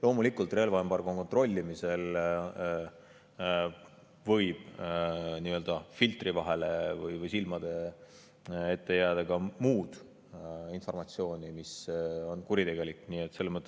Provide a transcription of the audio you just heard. Loomulikult, relvaembargo kontrollimisel võib nii-öelda filtri vahele või silmade ette jääda ka muud informatsiooni kuritegeliku.